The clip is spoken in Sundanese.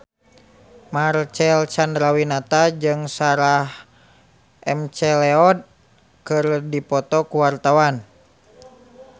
Marcel Chandrawinata jeung Sarah McLeod keur dipoto ku wartawan